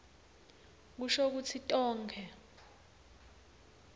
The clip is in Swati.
kusho kutsi tonkhe